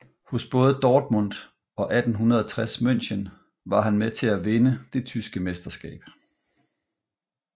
Hos både Dortmund og 1860 München var han med til at vinde det tyske mesterskab